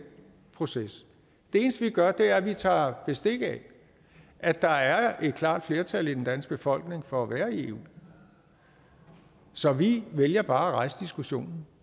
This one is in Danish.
proces det eneste vi gør er at vi tager bestik af at der er et klart flertal i den danske befolkning for at være i eu så vi vælger bare at rejse diskussionen